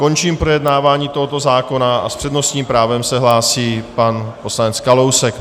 Končím projednávání tohoto zákona a s přednostním právem se hlásí pan poslanec Kalousek.